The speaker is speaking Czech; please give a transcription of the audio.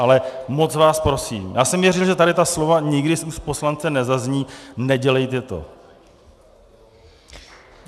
Ale moc vás prosím, já jsem věřil, že tady ta slova nikdy z úst poslance nezazní, nedělejte to.